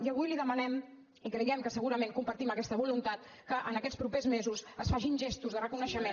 i avui li demanem i creiem que segurament compartim aquesta voluntat que en aquests propers mesos es facin gestos de reconeixement